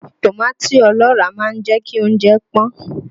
Tòmátì ọlọ́ràá máa ń jẹ́ kí oúnjẹ pọ́n